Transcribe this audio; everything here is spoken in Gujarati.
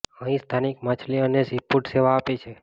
અહીં સ્થાનિક માછલી અને સીફૂડ સેવા આપે છે